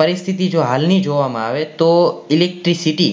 પરિસ્થિતિ જો હાલ ની જોવા માં આવે તો electricity